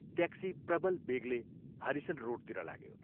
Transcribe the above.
" Taxi प्रबल वेगले Harrison रोडतिर लाग्यो।